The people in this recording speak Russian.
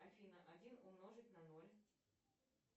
афина один умножить на ноль